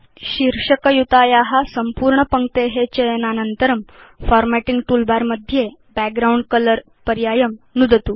शीर्षक युताया सम्पूर्ण पङ्क्ते चयनानन्तरं फार्मेटिंग टूलबार मध्ये बैकग्राउण्ड कलर पर्यायं नुदतु